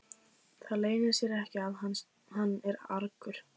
Það leynir sér ekki að hann er argur.